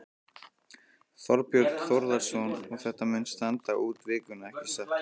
Þorbjörn Þórðarson: Og þetta mun standa út vikuna, ekki satt?